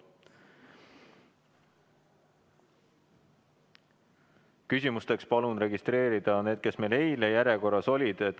Küsimusteks palun registreeruda neid, kes meil eile järjekorras olid.